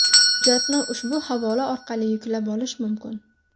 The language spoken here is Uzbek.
Hujjatni ushbu havola orqali yuklab olish mumkin.